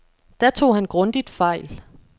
Der tog han grundigt fejl.